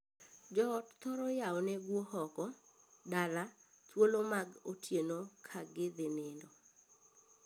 Joot thoro yawone guo oko (dala) thuolo mag otieno ka gidhii nindo.